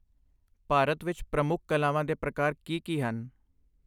ਭਾਰਤ ਵਿੱਚ ਪ੍ਰਮੁੱਖ ਕਲਾਵਾਂ ਦੇ ਪ੍ਰਕਾਰ ਕੀ ਕੀ ਹਨ?